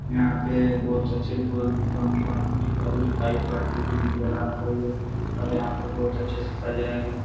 यहाँ पे बोहत अच्छे दिखाई पड़ता है और यहाँ पे बोहोत अचे से सजाया गया --